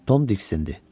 Tom diksindi.